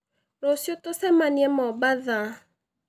Rũciũ tũcemanie Mombatha